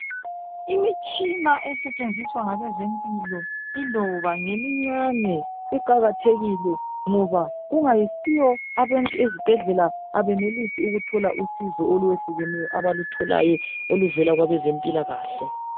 Imitshina esetshenziswa ngabezempilakahle iloba imncane iqakathekile ngoba kungayisiyo abantu ezibhedlela abenelisi ukuthola usizo olwaneleyo oluvela kwabezempilakahle.